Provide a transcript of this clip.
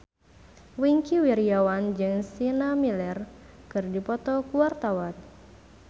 Wingky Wiryawan jeung Sienna Miller keur dipoto ku wartawan